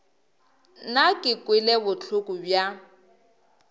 nna ke kwele bohloko bja